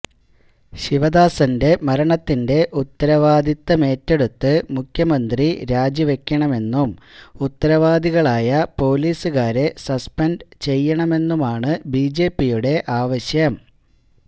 ശിവദാസന്റെ മരണത്തിന്റെ ഉത്തരവാദിത്വമേറ്റെടുത്ത് മുഖ്യമന്ത്രി രാജിവയ്ക്കണമെന്നും ഉത്തരവാദികളായ പോലീസുകാരെ സസ്പെന്ഡ് ചെയ്യണമെന്നുമാണ് ബിജെപിയുടെ ആവശ്യം